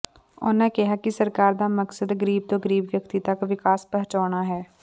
ਉਨ੍ਹਾ ਕਿਹਾ ਕਿ ਸਰਕਾਰ ਦਾ ਮਕਸਦ ਗਰੀਬ ਤੋਂ ਗਰੀਬ ਵਿਅਕਤੀ ਤੱਕ ਵਿਕਾਸ ਪਹੁੰਚਾਉਣਾ ਹੈ